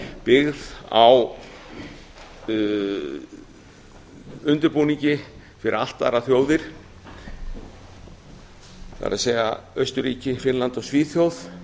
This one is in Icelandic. byggð á undirbúningi fyrir allt aðrar þjóðir það er austurríki finnland og svíþjóð